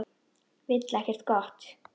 Vill ekkert gott.